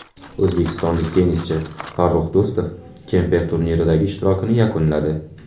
O‘zbekistonlik tennischi Farrux Do‘stov Kemper turniridagi ishtirokini yakunladi.